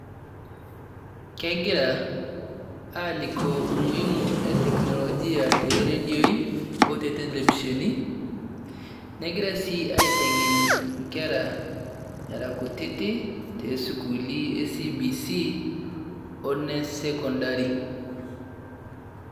Kegira alikoo umuhimu e teknolojia te redio o te televishon . Negiraa sii ateng'en nkeraa era nkutiti te sukuuli e cbc onee sekondari.